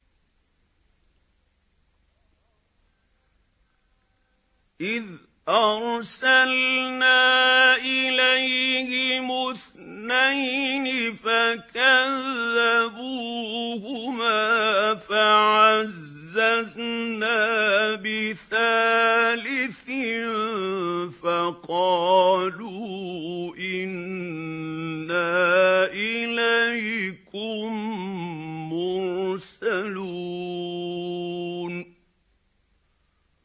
إِذْ أَرْسَلْنَا إِلَيْهِمُ اثْنَيْنِ فَكَذَّبُوهُمَا فَعَزَّزْنَا بِثَالِثٍ فَقَالُوا إِنَّا إِلَيْكُم مُّرْسَلُونَ